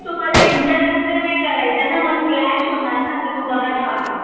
तुम्हाला interruption नाई करायचंय ना मग slash होनार ना त मग बरा नाई वाटनार